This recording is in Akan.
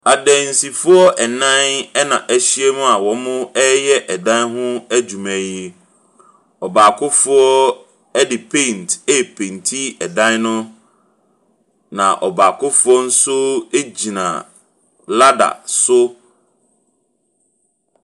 Adansifoɔ nnan ɛna ɛhyia mu a ɔyɛ ɛdan ho adwuma yi. Ɔbaakofoɔ ɛde paint ɛrepainti ɛdan no. na ɔbaakofoɔ nso egyina ladder so.